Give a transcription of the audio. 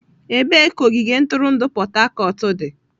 Ebee ka ogige ntụrụndụ Port Harcourt dị?